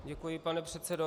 Děkuji, pane předsedo.